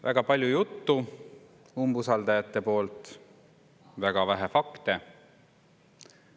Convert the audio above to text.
Väga palju juttu umbusaldajate poolt, väga vähe fakte.